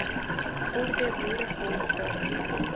orde boerevolk daarteen